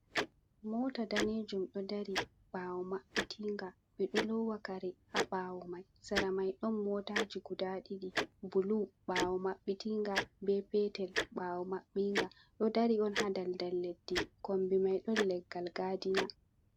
Mota danejum ɗo dari ɓawo mabbitin ga ɓe ɗo lowa kare ha ɓawo mai, sera mai ɗon motaji guda ɗiɗi bulu, ɓawo mabbitin ga be petel ɓawo maɓɓi nga ɗo dari on ha daldal leddi kombi mai ɗon leggal gadina.